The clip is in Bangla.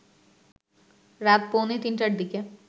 রাত পৌনে তিনটার দিকে